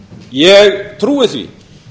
ég trúi því